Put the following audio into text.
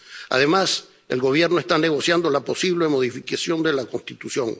Además, el Gobierno está negociando la posible modificación de la Constitución.